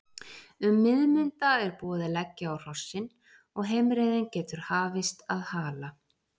Um miðmunda er búið að leggja á hrossin og heimreiðin getur hafist að Hala.